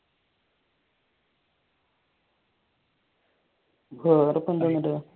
വേറെന്തായിപ്പ അവിടെ